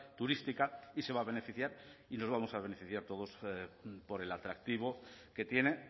turística y se va a beneficiar y nos vamos a beneficiar todos por el atractivo que tiene